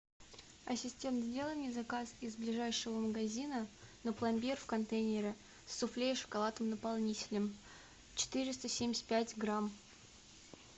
ассистент сделай мне заказ из ближайшего магазина на пломбир в контейнере с суфле и шоколадным наполнителем четыреста семьдесят пять грамм